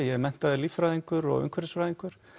ég er menntaður líffræðingur og umhverfisfræðingur